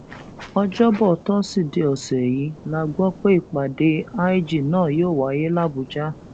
ọjọbọ tosidee ọsẹ yìí la gbọ pé ìpàdé lg náà yóò wáyé làbújá